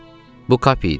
Bu Kapi idi.